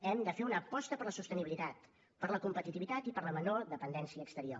hem de fer una aposta per la sostenibilitat per la competitivitat i per la menor dependència exterior